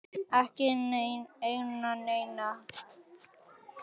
Ekki neina eina.